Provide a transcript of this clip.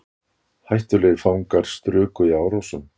Hættulegir fangar struku í Árósum